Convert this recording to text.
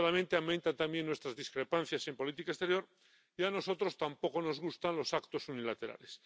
Desgraciadamente, aumentan también nuestras discrepancias en política exterior y a nosotros tampoco nos gustan los actos unilaterales.